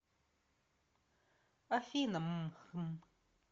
афина мм хмм